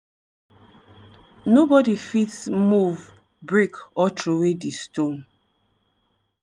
nobody fit move break or throway di stone.